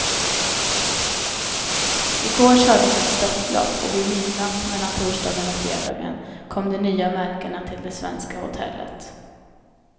I går kördes ett störtlopp och vid midnatt mellan torsdagen och fredagen kom de nya märkena till det svenska hotellet.